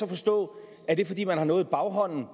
forstå at det er fordi man har noget i baghånden